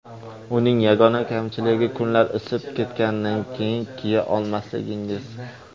Uning yagona kamchiligi kunlar isib ketganidan keyin kiya olmasligingiz.